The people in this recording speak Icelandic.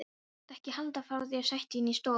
Viltu ekki heldur fá þér sæti inni í stofu?